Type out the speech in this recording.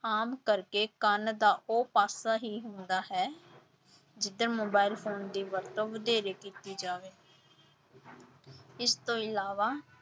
ਆਮ ਕਰਕੇ ਕੰਨ ਦਾ ਉਹ ਪਾਸਾ ਹੀ ਹੁੰਦਾ ਹੈ ਜਿੱਧਰ ਮੋਬਾਇਲ ਫ਼ੋਨ ਦੀ ਵਰਤੋਂ ਵਧੇਰੇ ਕੀਤੀ ਜਾਵੇ ਇਸ ਤੋਂ ਇਲਾਵਾ